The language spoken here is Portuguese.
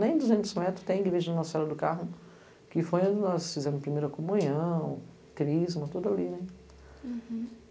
nem duzentos metros tem igreja na Serra do Carmo, que foi onde nós fizemos a primeira comunhão, o Crisma, tudo ali.